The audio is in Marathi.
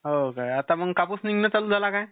हो काय आता मग कापूस निघणं चालू झाला काय?